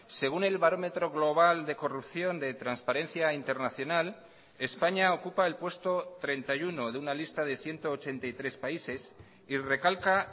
según el barómetro global de corrupción de transparencia internacional españa ocupa el puesto treinta y uno de una lista de ciento ochenta y tres países y recalca